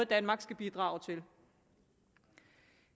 danmark skal bidrage til